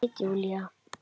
Það veit Júlía.